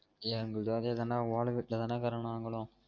ஏ எங்களதும் அதே தான் டா ஓல வீட்டுல தான் டா இருக்குறோம் நாங்களும்